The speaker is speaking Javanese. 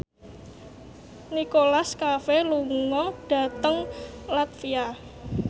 Nicholas Cafe lunga dhateng latvia